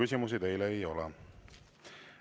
Küsimusi teile ei ole.